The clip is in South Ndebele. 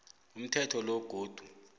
umthetho lo godu